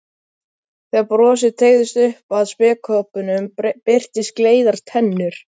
Þegar brosið teygðist upp að spékoppunum birtust gleiðar tennur.